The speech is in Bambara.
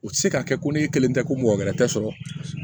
U tɛ se ka kɛ ko ne kelen tɛ ko mɔgɔ wɛrɛ tɛ sɔrɔ